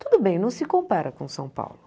Tudo bem, não se compara com São Paulo.